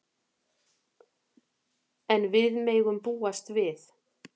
En við megum búast við.